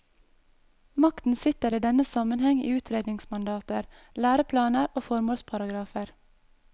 Makten sitter i denne sammenheng i utredningsmandater, læreplaner og formålsparagrafer.